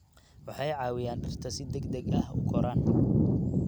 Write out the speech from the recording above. Waxay caawiyaan dhirta si degdeg ah u koraan.